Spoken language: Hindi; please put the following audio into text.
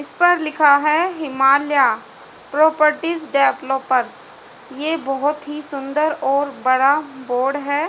इस पर लिखा है हिमालया प्रोपर्टी डेवलोपर्स ये बहोत ही सुन्दर और बड़ा बोर्ड है।